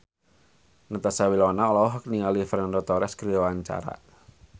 Natasha Wilona olohok ningali Fernando Torres keur diwawancara